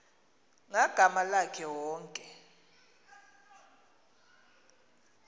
ngagama lakhe wonke